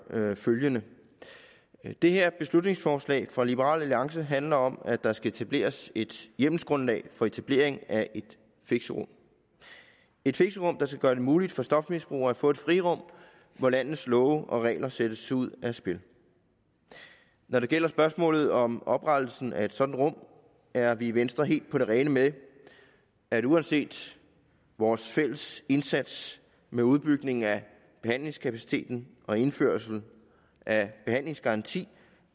følgende det her beslutningsforslag fra liberal alliance handler om at der skal etableres et hjemmelsgrundlag for etablering af et fixerum et fixerum der skal gøre det muligt for stofmisbrugere at få et frirum hvor landets love og regler sættes ud af spil når det gælder spørgsmålet om oprettelsen af et sådant rum er vi i venstre helt på det rene med at uanset vores fælles indsats med udbygning af behandlingskapaciteten og indførelse af en behandlingsgaranti